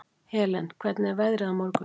Helen, hvernig er veðrið á morgun?